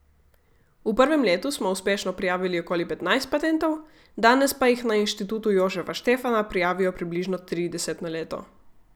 V prvem letu smo uspešno prijavili okoli petnajst patentov, danes pa jih na Inštitutu Jožefa Stefana prijavijo približno trideset na leto.